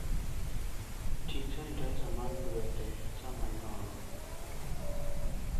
Ting' sanitizer mar lwete sama inono.